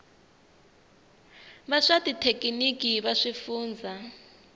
va swa xithekiniki va swifundzha